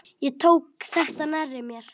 Ég tók þetta nærri mér.